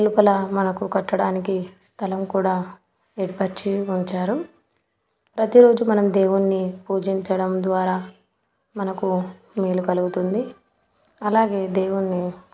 లోపల మనకు కట్టడానికి స్థలం కూడా ఏర్పాటు చేసి ఉంచారు. ప్రతిరోజు మనం దేవుణ్ణి పూజించడం ద్వారా మనకు మేలు కలుగుతుంది. అలాగే దేవుణ్ణి --